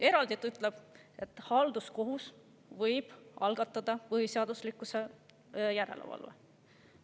Eraldi ta ütleb, et halduskohus võib algatada põhiseaduslikkuse järelevalve.